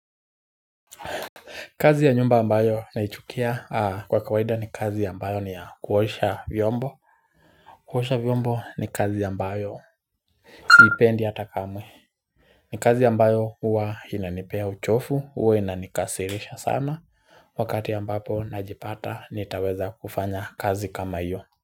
Kazi ya nyumba ambayo naichukia kwa kawaida ni kazi ambayo ni ya kuosha vyombo. Kuosha vyombo ni kazi ambayo siipendi hata kamwe. Ni kazi ambayo huwa inanipea uchofu, huwa inanikasirisha sana. Wakati ambapo najipata nitaweza kufanya kazi kama iyo.